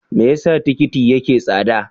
Me yasa tikiti yake tsada?